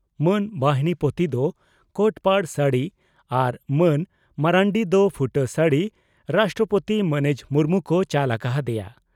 ᱢᱟᱱ ᱵᱟᱦᱤᱱᱤᱯᱚᱛᱤ ᱫᱚ ᱠᱚᱴᱯᱟᱰ ᱥᱟᱹᱲᱤ ᱟᱨ ᱢᱟᱹᱱ ᱢᱟᱨᱱᱰᱤ ᱫᱚ ᱯᱷᱩᱴᱟᱹ ᱥᱟᱹᱲᱤ ᱨᱟᱥᱴᱨᱚᱯᱳᱛᱤ ᱢᱟᱹᱱᱤᱡ ᱢᱩᱨᱢᱩ ᱠᱚ ᱪᱟᱞ ᱟᱠᱟ ᱦᱟᱫᱮᱭᱟ ᱾